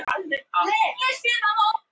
Eldór, hvað er á dagatalinu mínu í dag?